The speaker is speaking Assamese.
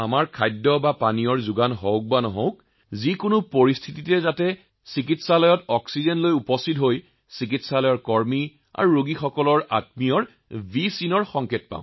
খাদ্য উপলব্ধ হওক বা নহওক সমস্যা যিয়েই নহওক আমি টেংকাৰ লৈ চিকিৎসালয়ত উপস্থিত হও আৰু দেখো যে চিকিৎসালয়ৰ লোকসকলে আমাৰ ফালে ভি ইংগিত প্ৰদৰ্শিত কৰিছে